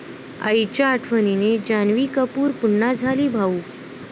आईच्या आठवणीने जान्हवी कपूर पुन्हा झाली भावुक